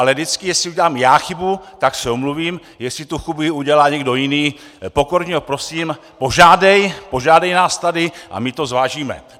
Ale vždycky, jestli udělám já chybu, tak se omluvím, jestli tu chybu udělá někdo jiný, pokorně ho prosím, požádej nás tady a my to zvážíme.